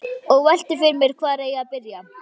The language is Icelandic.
Og velti fyrir mér hvar eigi að byrja.